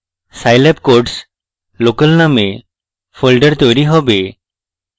scilab codes local named folder তৈরী হবে